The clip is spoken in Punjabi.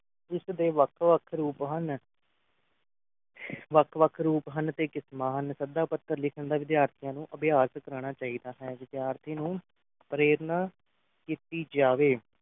ਇਸ ਦੇ ਵੱਖ ਵੱਖ ਰੂਪ ਹਨ ਵੱਖ ਵੱਖ ਰੂਪ ਹਨ ਤੇ ਕਿਸਮਾ ਹਨ ਸੱਦਾ ਪੱਤਰ ਲਿਖਣ ਦਾ ਵਿਦਿਆਰਥੀਆਂ ਨੂੰ ਅਭਿਆਸ ਕਰਾਣਾ ਚਾਹੀਦਾ ਹੈ ਵਿਦਿਆਰਥੀਆਂ ਨੂੰ ਪ੍ਰੇਰਣਾ ਕੀਤੀ ਜਾਵੇ